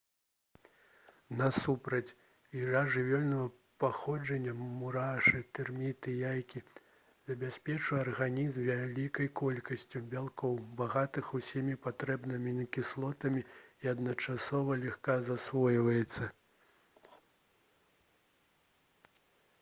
насупраць ежа жывёльнага паходжання мурашы тэрміты яйкі забяспечвае арганізм вялікай колькасцю бялкоў багатых усімі патрэбнымі амінакіслотамі і адначасова лёгка засвойваецца